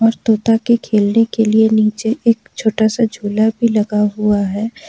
और तोता के खेलने के लिए नीचे एक छोटा सा झूला भी लगा हुआ है।